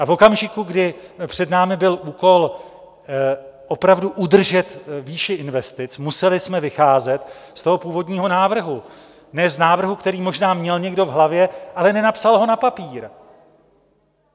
A v okamžiku, kdy před námi byl úkol opravdu udržet výši investic, museli jsme vycházet z toho původního návrhu, ne z návrhu, který možná měl někdo v hlavě, ale nenapsal ho na papír.